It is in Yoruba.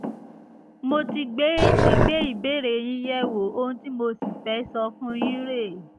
mo ti gbé ti gbé ìbéèrè yín yẹ̀wò ohun tí mo sì fẹ́ sọ fún un yín rèé